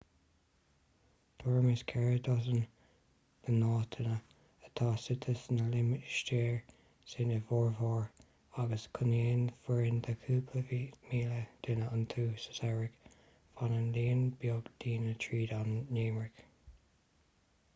tuairim is ceithre dosaen bunáiteanna atá suite sna limistéir sin ina bhformhór agus cónaíonn foireann de chúpla míle duine iontu sa samhradh fanann líon beag daoine tríd an ngeimhreadh